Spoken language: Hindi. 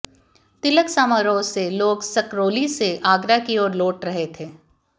तिलक समारोह से लोग सकरौली से आगरा की ओर लौट रहे थे